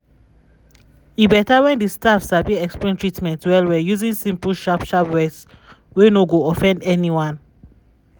e beta when di staff sabi explain treatment well-well using simple sharp sharp words wey no go offend anyone.